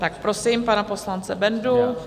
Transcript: Tak prosím pana poslance Bendu.